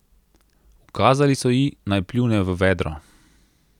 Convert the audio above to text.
Ukazali so ji, naj pljune v vedro.